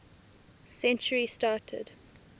century started